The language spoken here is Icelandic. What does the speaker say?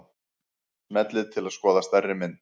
Smellið til að skoða stærri mynd.